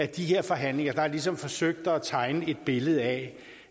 de her forhandlinger har man ligesom forsøgt at tegne et billede af